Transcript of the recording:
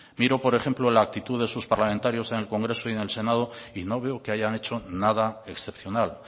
mire por ejemplo la actitud de sus parlamentarios en el congreso y en el senado y no veo que hayan hecho nada excepcional